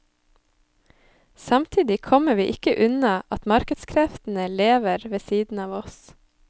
Samtidig kommer vi ikke unna at markedskreftene lever ved siden av oss.